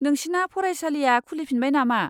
नोंसिना फरायसालिया खुलिफिनबाय नामा?